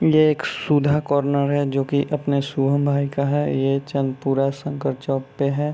ये एक सुधा कार्नर है जो कि अपने शुभम भाई का है ये चंद्रपुरा शंकर चौक पे है।